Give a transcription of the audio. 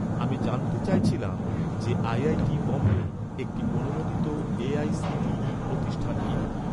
আমি জানতে চাইছিলাম যে, আইআইটি বোম্বে, একটি অনুমোদিত এ.আই.সি.টি.ই প্রতিষ্ঠান কিনা?